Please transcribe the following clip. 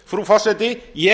frú forseti ég